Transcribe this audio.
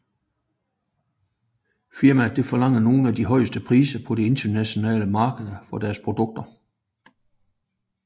Firmaet forlanger nogle af de højeste priser på det internationale marked for sine produkter